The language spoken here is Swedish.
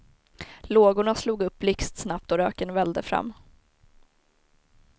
Lågorna slog upp blixtsnabbt och röken vällde fram.